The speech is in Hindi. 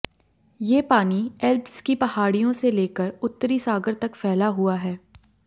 ये पानी एल्प्स की पहाड़ियों से लेकर उत्तरी सागर तक फैला हुआ है